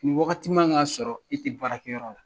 Ni Waagati ma kan ka sɔrɔ i tɛ baara kɛ yɔrɔ la